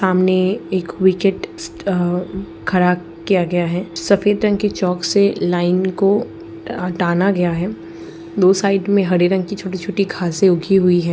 सामने एक विकेट अ खड़ा किया गया है सफ़ेद रंग की चॉक से लाइन को टाना गया है दो साइड में हरे रंग की छोटी -छोटी घासें उगी हुई है।